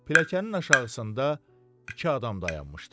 Pilləkənin aşağısında iki adam dayanmışdı.